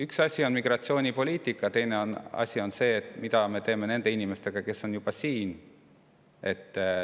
Üks asi on migratsioonipoliitika, teine asi on see, mida me teeme nende inimestega, kes on juba siin.